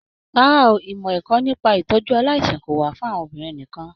Rárá o, ìmọ ẹ̀kọ́ nípa itọju aláìsàn kò wà fún àwọn obìnrin nìkàn.